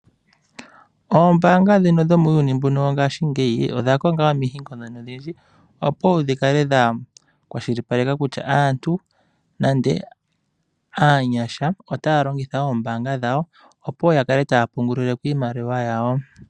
Ombaanga ndhino dhomuuyuni mbuno wongaashingeyi odha konga omihingo ndhono odhindji opo dhi kale dha kwashilipaleka kutya aantu nande aanyasha otaa longitha ombaanga dhawo opo ya kale taa pungulileko iimaliwa yawo.